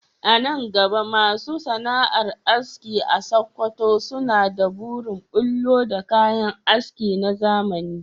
A nan gaba masu sana’ar aski a Sakkwato suna da burin bullo da kayan aski na zamani